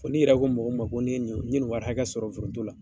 N'i yɛrɛ ko mɔgɔ ko ne ni n ye ni wari hakɛ sɔrɔ foronto la